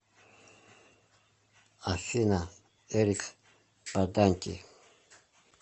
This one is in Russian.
афина эрик баданти